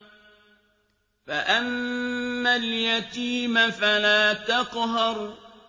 فَأَمَّا الْيَتِيمَ فَلَا تَقْهَرْ